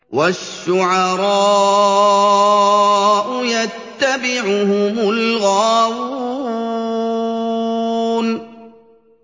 وَالشُّعَرَاءُ يَتَّبِعُهُمُ الْغَاوُونَ